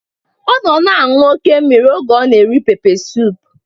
Ọ nọ na-aṅụ oké mmiri oge ọ na-eri pepe suup